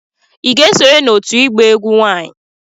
Ị ga-esonye n'òtù ịgba egwu nwanyị